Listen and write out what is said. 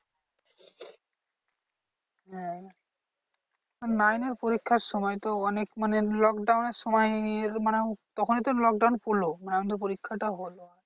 হ্যাঁ nine এর পরীক্ষার সময় তো অনেক মানে lockdown এর সময় মানে তখনই তো lockdown পড়লো মানে আমাদের পরীক্ষা টাও হলো।